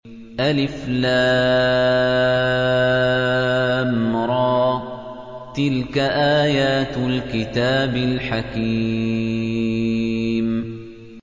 الر ۚ تِلْكَ آيَاتُ الْكِتَابِ الْحَكِيمِ